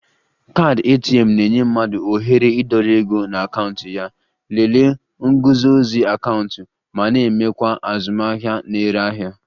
Kaadị ATM na-enye mmadụ ohere ịdọrọ ego na akaụntụ ya, lelee nguzozi akaụntụ ma na-emekwa azụmahịa na-ere ahịa